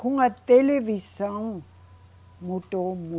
Com a televisão, mudou